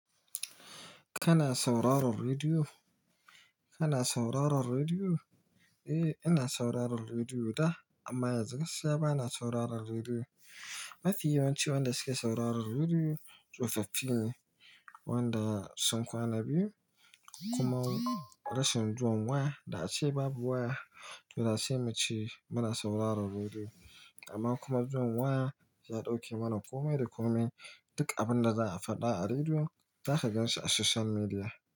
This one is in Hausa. Kana sauraron rediyo? Kana sauraron rediyo? Eh, ina sauraron rediyo da, amma yanzu gaskiya bana sauraron rediyo. Ma fi yawanci wanda suke sauraron rediyo tsofaffi ne wanda sun kwana biyu kuma rashin zuwan waya da ace babu waya, dole sai mu ce muna sauraron rediyo. Amma kuma zuwan waya ya dauke mana komai da komai. Duk abin da za a faɗa a rediyo zaka ganshi a social media.